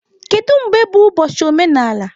Kedu mgbe bụ ụbọchị omenala?